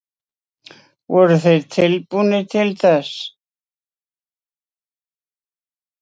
Jóhann: Voru þeir tilbúnir til þess?